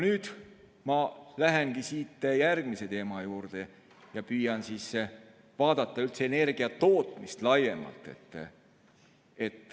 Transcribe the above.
Nüüd ma lähengi järgmise teema juurde ja püüan vaadata üldse energiatootmist laiemalt.